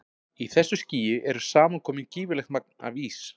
í þessu skýi er saman komið gífurlegt magn af ís